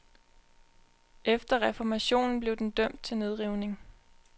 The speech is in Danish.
Efter reformationen blev den dømt til nedrivning.